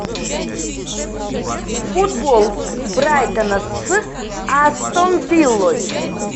футбол брайтона с астон виллой